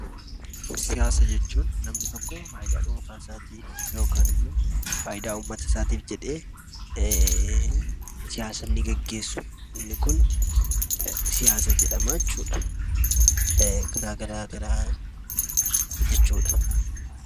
Siyaasa jechuun namni tokko faayidaa dhuunfaa isaatiif yookaan immoo faayidaa ummata isaatiif jedhee siyaasa inni geggeessu, inni kun siyaasa jedhama jechuu dha. Karaa garaagaraa jechuu dha.